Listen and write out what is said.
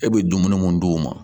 E bɛ dumuni mun d'u ma